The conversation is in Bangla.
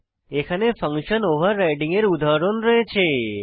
এখানে ফাংশন ওভাররাইডিং এর উদাহরণ রয়েছে